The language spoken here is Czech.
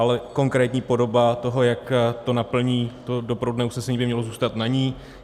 Ale konkrétní podoba toho, jak to naplní, to doprovodné usnesení, by mělo zůstat na ní.